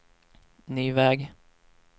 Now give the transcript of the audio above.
ny väg